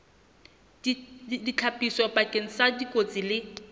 ditlhapiso bakeng sa dikotsi le